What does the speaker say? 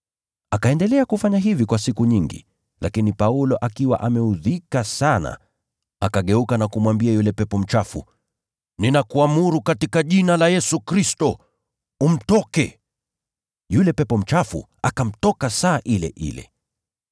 Akaendelea kufanya hivi kwa siku nyingi, lakini Paulo akiwa ameudhika sana, akageuka na kumwambia yule pepo mchafu, “Ninakuamuru katika jina la Yesu Kristo, umtoke!” Yule pepo mchafu akamtoka saa ile ile.